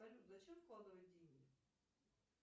салют зачем вкладывать деньги